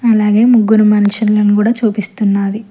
అలాగే ముగ్గురు మనుషులను కూడా చూపిస్తున్నాది.